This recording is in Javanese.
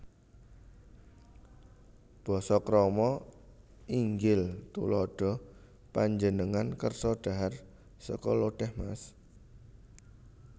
Basa Krama InggilTuladha Panjenengan kersa dhahar sekul lodhèh Mas